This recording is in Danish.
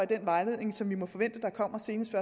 den vejledning som vi må forvente kommer senest